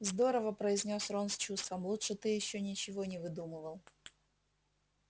здорово произнёс рон с чувством лучше ты ещё ничего не выдумывал